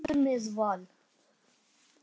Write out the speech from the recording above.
Hún leikur með Val.